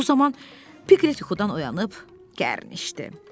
Bu zaman Piklet yuxudan oyanıb gərnişdi.